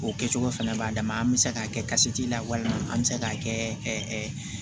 O kɛcogo fɛnɛ b'a dama an be se k'a kɛ kasi la walima an mi se k'a kɛ